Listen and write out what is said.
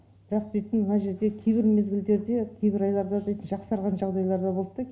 бірақ дейтін мына жерде кейбір мезгілдерде кейбір айларда да жақсарған жағдайлар болтта